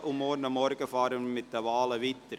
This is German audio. Morgen Vormittag fahren wir mit den Wahlen weiter.